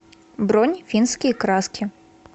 бронь финские краски